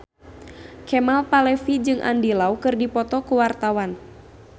Kemal Palevi jeung Andy Lau keur dipoto ku wartawan